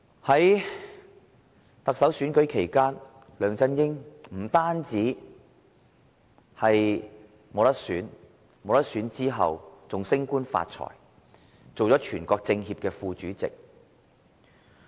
在特首選舉期間，梁振英不能競選連任，但卻可以升官發財，出任全國政協副主席。